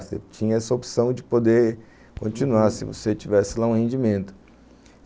Você tinha essa opção de poder continuar se você tivesse lá um rendimento.